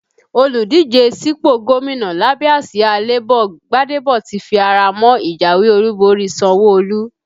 Olùdíje sípò gómìnà lábẹ́ àsìá Labour Gbadebo ti fi ara mọ́ ìjáwé olúborí Sanwo-Olu